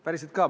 Päriselt ka.